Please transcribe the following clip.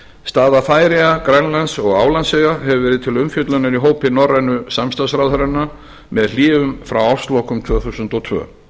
staða færeyja grænlands og álandseyja hefur verið til umfjöllunar í hópi norrænu samstarfsráðherranna með hléum frá árslokum tvö þúsund og tvö